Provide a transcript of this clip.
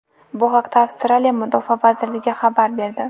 Bu haqda Avstraliya Mudofaa vazirligi xabar berdi .